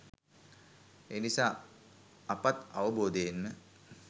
එනිසා අපත් අවබෝධයෙන්ම